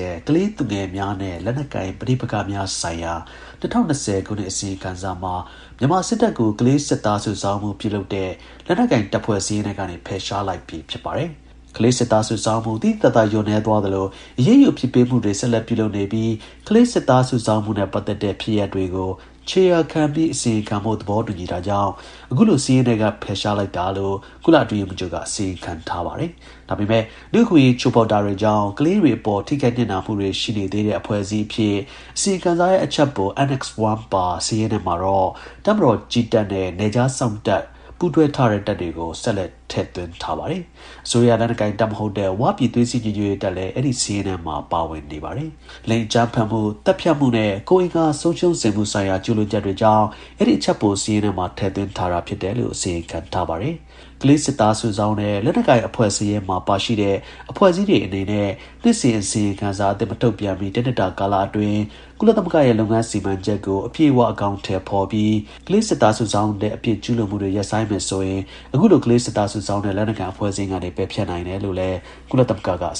ဲ့ ကလေးသူငယ်များနဲ့ လက်နက်ကိုင် ပဋိပက္ခများဆိုင်ရာ ၂၀၂၀ ခုနှစ် အစီရင်ခံ စာမှာ မြန်မာစစ်တပ်ကို ကလေးစစ်သား စုဆောင်းမှု ပြုလုပ်တဲ့ လက်နက်ကိုင်တပ်ဖွဲ့ စာရင်းထဲကနေ ဖယ်ရှားလိုက် ပြီ ဖြစ်ပါတယ်။ ကလေးစစ်သားစုဆောင်းမှု သိသိသာသာ လျော့နည်းသွားသလို အရေးယူအပြစ်ပေးမှုတွေ ဆက်လက် ပြုလုပ် နေပြီး ကလေးစစ်သား စုဆောင်းမှုနဲ့ ပတ်သက်တဲ့ ဖြစ်ရပ်တွေကို ခြေရာခံပြီး အစီရင်ခံဖို့ သဘောတူညီတာကြောင့် အခုလို စာရင်းထဲက ဖယ်ရှားလိုက်တာလို့ ကုလ အတွင်းရေးမှူးချုပ်က အစီရင်ခံထားပါတယ်။ ဒါပေမဲ့ လူ့အခွင့်အရေး ချိုးဖောက်တာကြောင့် ကလေးတွေ အပေါ် ထိခိုက်နစ်နာ မှု တွေ ရှိနေသေးတဲ့ အဖွဲ့အစည်းအဖြစ် အစီရင်ခံစာရဲ့ အချပ်ပို ANNEX I ပါ စာရင်းထဲမှာတော့ တပ်မတော် (ကြည်းတပ်) နဲ့ နယ်ခြား စောင့်တပ်ထဲ ပူးတွဲထားတဲ့ တပ်တွေကို ဆက်လက် ထည့်သွင်းထားပါတယ်။ အစိုးရ လက်နက်ကိုင်တပ်မဟုတ်တဲ့ ဝ ပြည် သွေးစည်း ညီညွတ်ရေးတပ် လည်း အဲဒီ စာရင်းထဲမှာ ပါဝင်နေပါတယ်။ လိင် အကြမ်းဖက်မှု၊ သတ်ဖြတ်မှုနဲ့ ကိုယ်အင်္ဂါဆုံးရှုံးစေမှုဆိုင်ရာ ကျူးလွန်ချက်တွေကြောင့် အဲဒီ အချပ်ပို စာရင်းထဲမှာ ထည့်သွင်းထားတာ ဖြစ်တယ်လို့ အစီရင်ခံထားပါတယ်။ ကလေးစစ်သား စုဆောင်းတဲ့ လက်နက်ကိုင် အဖွဲ့ စာရင်းမှာ ပါရှိတဲ့ အဖွဲ့အစည်းအနေနဲ့ နှစ်စဉ် အစီရင်ခံစာအသစ် မထုတ်ပြန်မှီ တစ်နှစ်တာကာလအတွင်း ကုလသမဂ္ဂရဲ့ လုပ်ငန်း စီမံချက်ကို အပြည့်အဝ အကောင်အထည် ဖော်ပြီး ကလေးစစ်သား စုဆောင်းတဲ့ အပြစ် ကျူးလွန်မှုတွေ ရပ်ဆိုင်းမယ်ဆိုရင် အခုလို ကလေးစစ်သား စုဆောင်းတဲ့ လက်နက်ကိုင် အဖွဲ့ စာရင်းကနေ ပယ်ဖျက်နိုင် တယ်လို့ လည်း ကုလသမဂ္ဂက အ